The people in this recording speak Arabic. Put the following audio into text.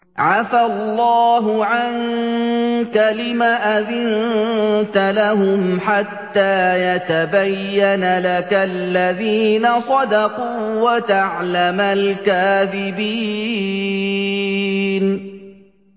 عَفَا اللَّهُ عَنكَ لِمَ أَذِنتَ لَهُمْ حَتَّىٰ يَتَبَيَّنَ لَكَ الَّذِينَ صَدَقُوا وَتَعْلَمَ الْكَاذِبِينَ